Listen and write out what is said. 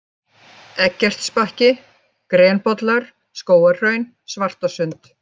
Eggertsbakki, Grenbollar, Skógarhraun, Svartasund